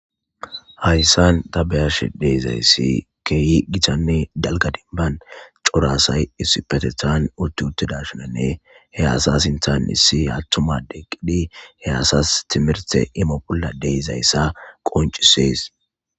Hayyssan ta beyash deezayssi keeh gitanne dalga deniban corasay issi patetaan utti utteda shinanne he asa sinttan issi attumade qidi he asas timirte imo bolla deezayssa qoncisees.